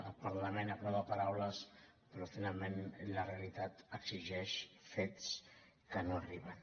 el parlament aprova paraules però finalment la realitat exigeix fets que no arriben